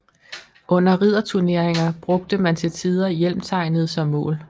Under ridderturneringer brugte man til tider hjelmtegnet som mål